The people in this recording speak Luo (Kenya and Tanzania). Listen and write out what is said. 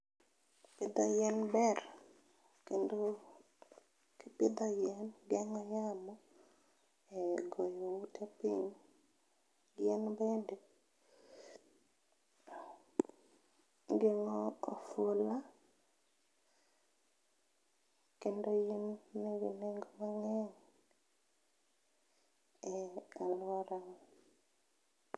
Pidho yien ber, kendo kipidho yien geng'o yamo e goyo ute piny. Yien bende geng'o ofula kendo yien bende nigi nengo ne e alwora wa.